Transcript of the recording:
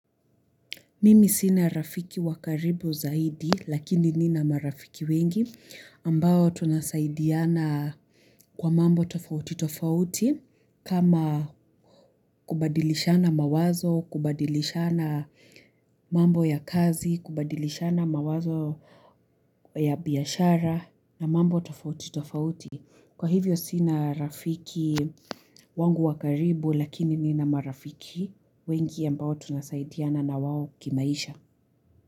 Mimi sina rafiki wa karibu zaidi lakini nina marafiki wengi ambao tunasaidiana kwa mambo tofauti tofauti kama kubadilishana mawazo, kubadilishana mambo ya kazi, kubadilishana mawazo ya biashara na mambo tofauti tofauti. Kwa hivyo sina rafiki wangu wa karibu lakini nina marafiki wengi ambao tunasaidiana na wao kimaisha.